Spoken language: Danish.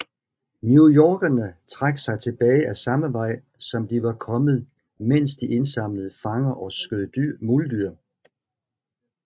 Newyorkerne trak sig tilbage ad samme vej som de var kommet mens de indsamlede fanger og skød muldyr